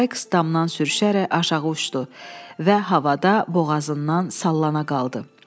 Saiks damdan sürüşərək aşağı uçdu və havada boğazından sallana qaldı.